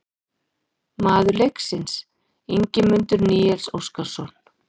Maður leiksins: Ingimundur Níels Óskarsson